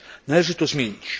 Należy to zmienić